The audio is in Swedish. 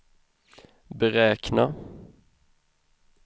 beräkna